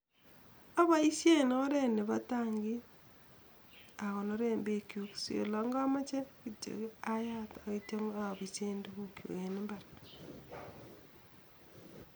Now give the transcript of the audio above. Aboishen oret nebo tangit akonoren bekchuk si oleamoche ayat akibise tukuk chuk en imbar